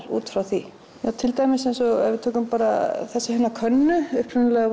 út frá því til dæmis ef við tökum bara þessa hérna könnu upprunalega